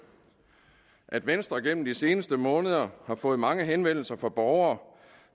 at venstre gennem de seneste måneder har fået mange henvendelser fra borgere